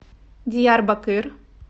диярбакыр